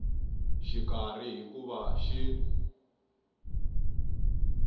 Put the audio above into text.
xikarhi hi ku va xi